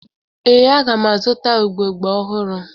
Ee, aga m azụta ugbogbe ọhụrụ